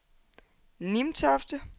Nimtofte